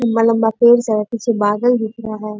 लम्बा-लम्बा पेड़ सब है पीछे बादल दिख रहा है।